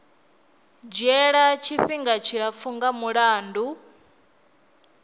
dzhiela tshifhinga tshilapfu nga mulandu